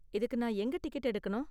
இதுக்கு நான் எங்க டிக்கெட் எடுக்கணும்?